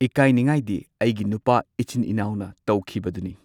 ꯏꯀꯥꯢꯅꯤꯡꯉꯥꯢꯗꯤ ꯑꯩꯒꯤ ꯅꯨꯄꯥ ꯏꯆꯤꯟ ꯏꯅꯥꯎꯅ ꯇꯧꯈꯤꯕꯗꯨꯅꯤ꯫